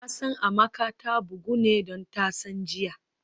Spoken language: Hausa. Nasan Amaka ta bugu ne don tasan jiya